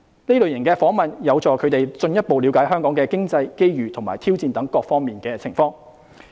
這類訪問有助他們進一步了解香港經濟、機遇和挑戰等各方面的情況。